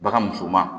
Bagan musoman